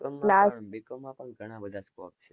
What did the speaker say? B. com. માં પણ ઘણા બધા scope છે.